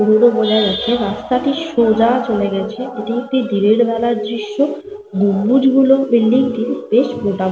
বোঝা যাচ্ছে রাস্তাটি সোজা চলে গেছে। এটি একটি দিনের বেলা দৃশ্য়। গম্বুজ গুলো বিল্ডিং -টির বেশ মোটা মোটা।